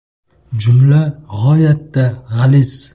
Jumla g‘oyatda g‘aliz.